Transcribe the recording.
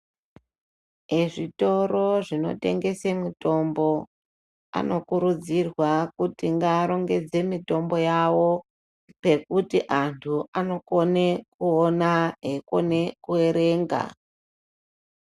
Ezvitoro zvino tengese mitombo ano kurudzirwa kuti nga arongedze mitombo yavo pekuti antu anokone kuona eyi kone ku erenga.